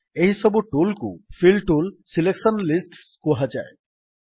ଏହିସବୁ ଟୁଲ୍ କୁ fill tool selection lists କୁହାଯାଏ